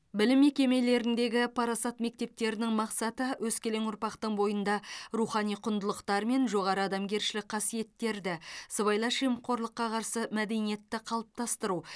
білім мекемелеріндегі парасат мектептерінің мақсаты өскелең ұрпақтың бойында рухани құндылықтар мен жоғары адамгершілік қасиеттерді сыбайлас жемқорлыққа қарсы мәдениетті қалыптастыру